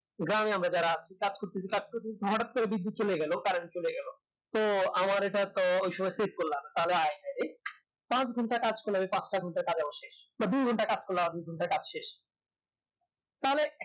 গ্রামে আমরা যারা আছি কাজ করতেছি কাজ করতেছি হঠাৎ করে বিদ্যুৎ চলে গেলো current চলে গেলো তো আমার এটা তো ওই সময় check করলাম তাহলে পাঁচ ঘণ্টার কাজ করলে পাঁচটা ঘণ্টার কাজ আমার শেষ বা দু ঘণ্টার কাজ করলে দু ঘণ্টার কাজ শেষ তাহলে